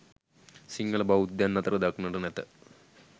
සිංහල බෞද්ධයන් අතර දක්නට නැත.